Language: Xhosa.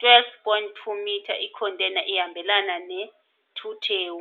12.2 metre, i-container ihambelana ne-2 TEU.